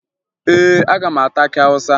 Ee, aga m ata akị Awụsa